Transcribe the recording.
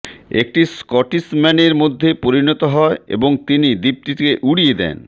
একটি স্কটিশম্যানের মধ্যে পরিণত হয় এবং তিনি দ্বীপটিকে উড়িয়ে দেন